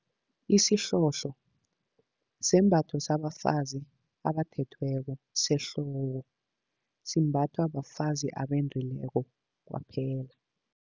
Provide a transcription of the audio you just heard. Isihlohlo sembatho sabafazi abathethweko sehloko. Simbathwa bafazi abendileko kwaphela.